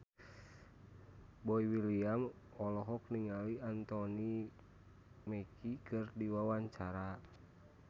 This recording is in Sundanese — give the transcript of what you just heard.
Boy William olohok ningali Anthony Mackie keur diwawancara